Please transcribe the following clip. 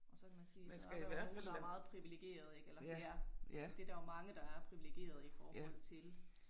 Og så kan man sige så er der jo nogle der er meget privilegerede ik eller det er det der jo mange der er privilegerede i forhold til